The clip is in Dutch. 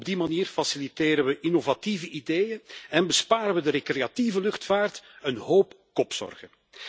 Op die manier faciliteren we innovatieve ideeën en besparen we de recreatieve luchtvaart een hoop kopzorgen.